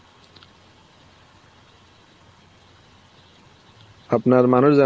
আপনার মানুষ যেমন